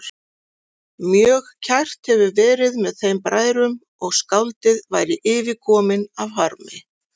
Mjög kært hefði verið með þeim bræðrum og skáldið væri yfirkominn af harmi.